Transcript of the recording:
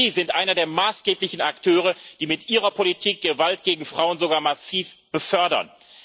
Sie sind einer der maßgeblichen Akteure, die mit ihrer Politik Gewalt gegen Frauen sogar massiv befördern.